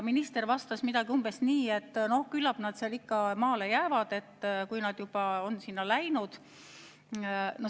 Minister vastas umbes nii, et küllap nad ikka maale jäävad, kui nad on juba sinna läinud.